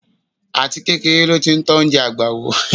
Àtikékeré ló ti tọ́ oúnjẹ àgbà wò.